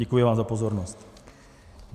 Děkuji vám za pozornost.